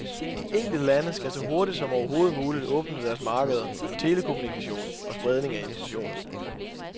De enkelte lande skal så hurtigt som overhovedet muligt åbne deres markeder for telekommunikation og spredning af informationer.